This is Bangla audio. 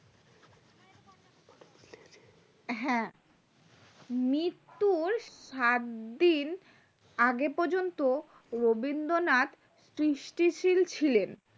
হ্যাঁ মৃত্যুর সাত দিন আগে পর্যন্ত রবীন্দ্রনাথ দৃষ্টি সিল ছিলেন